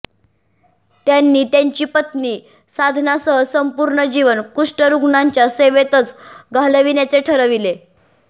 त्यांनी त्यांची पत्नी साधनासह संपूर्ण जीवन कुष्ठरुग्णांच्या सेवेतच घालविण्याचे ठरविले